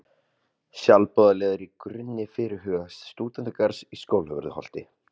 Sjálfboðaliðar í grunni fyrirhugaðs stúdentagarðs á Skólavörðuholti